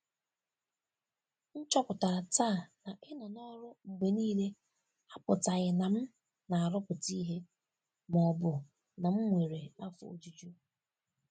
M chọpụtara taa na ịnọ n’ọrụ mgbe niile apụtaghị na m na-arụpụta ihe ma ọ bụ na m nwere afọ ojuju.